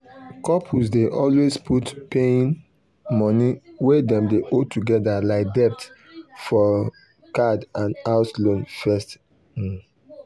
dir account wey dem put money togedr na big secret nobody know about am even dir money adviser